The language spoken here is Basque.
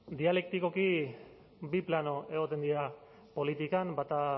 dialektikoki bi plano egoten dira politikan bata